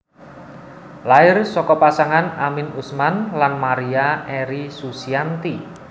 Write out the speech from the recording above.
Lair saka pasangan Amin Usman lan Maria Eri Susianti